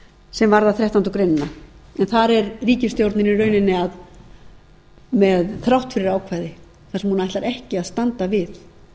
sem varðar þrettándu greinar en þar er ríkisstjórnin í rauninni með þráttfyrirákvæði þar sem hún ætlar ekki að standa við